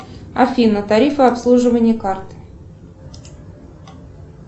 афина тарифы обслуживания карт